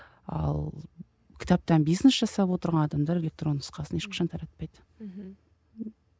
ал кітаптан бизнес жасап отырған адамдар электронды нұсқасын ешқашан таратпайды мхм